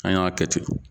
An y'a kɛ ten